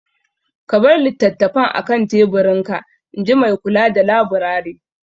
Ka bar littattafan a kan teburinka, in ji Maikula da laburare.